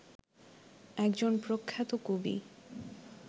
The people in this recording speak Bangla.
একজন প্রখ্যাত কবি